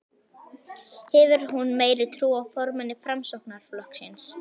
Hefur hún meiri trú á formanni Framsóknarflokksins?